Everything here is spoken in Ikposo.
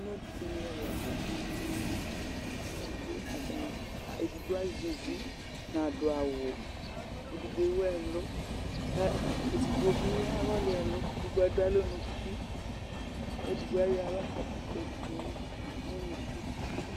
Alʋ ɛla dini zati edigbo azɛ ʋvi nadʋ awʋ edigbo ewʋ ɛlʋ kʋ edigbo bi awɔli ɛlʋ kʋ edigbobi adʋ alɔ nʋ ʋti kʋ edigbo ayɔ aɣla kadʋ kʋ edigbo nʋ ʋnʋkʋ